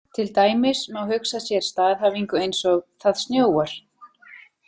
Til dæmis má hugsa sér staðhæfingu eins og „Það snjóar“.